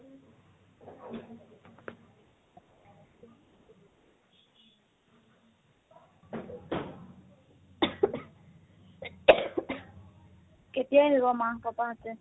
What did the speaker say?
কাতিয়া আহিব মা papa হতে?